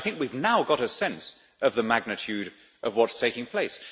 But I think we have now got a sense of the magnitude of what is taking place.